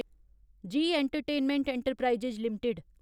ji entertainment enterprises limited